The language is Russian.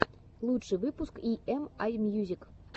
лучший выпуск и эм ай мьюзик